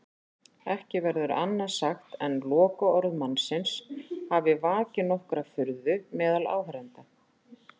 Ekki verður annað sagt en lokaorð mannsins hafi vakið nokkra furðu meðal áheyrenda.